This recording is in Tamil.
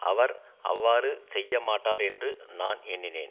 அவர் அவ்வாறு செய்யமாட்டார் என்று நான் எண்ணினேன்